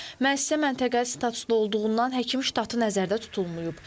Müəssisə məntəqə statuslu olduğundan həkim ştatı nəzərdə tutulmayıb.